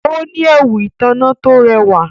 Ó ní ẹwù ìtànná tó rẹwà.